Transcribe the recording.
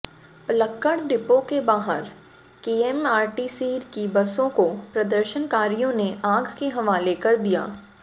Palakkad depot के बाहर KSRTC की बसों को प्रदर्शनकारियों ने आग के हवाले कर दिया